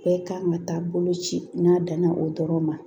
Bɛɛ kan ka taa bolo ci n'a danna o dɔrɔn ma